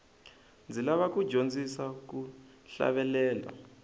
ndzi lava ku dyondzisiwa ku hlavelela